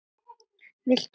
VILTU MEIRA?